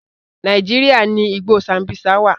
Nàíjíríà ni igbó Sambisa wà.